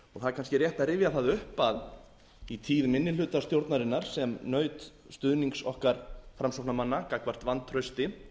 er kannski rétt að rifja það upp að í tíð minnihlutastjórnarinnar sem naut stuðnings okkar framsóknarmanna gagnvart vantrausti